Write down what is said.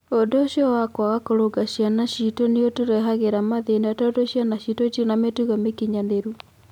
Ũndũ ũcio wa kwaga kũrũnga ciana citũ nĩ ũtũrehagĩra mathĩna tondũ ciana citũ itirĩ na mĩtugo mĩkinyanĩru".